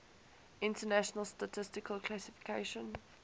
international statistical classification